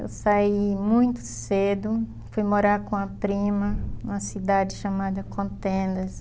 Eu saí muito cedo, fui morar com a prima, numa cidade chamada Contendas.